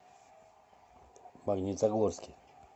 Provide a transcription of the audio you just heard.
магнитогорске